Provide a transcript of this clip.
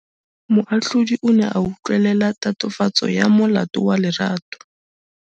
Moatlhodi o ne a utlwelela tatofatsô ya molato wa Lerato.